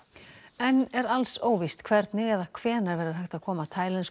enn er alls óvíst hvernig eða hvenær verður hægt að koma taílensku